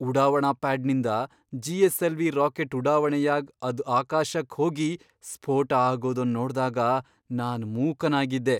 ಉಡಾವಣಾ ಪ್ಯಾಡ್ನಿಂದ GSLV rocket ಉಡಾವಣೆ ಯಾಗ್ ಅದ್ ಆಕಾಶಕ್ ಹೋಗಿ ಸ್ಫೋಟ ಆಗೋದನ್ ನೋಡ್ದಾಗ ನಾನ್ ಮೂಕನಾಗಿದ್ದೆ.